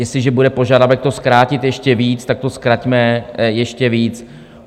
Jestliže bude požadavek to zkrátit ještě víc, tak to zkraťme ještě víc.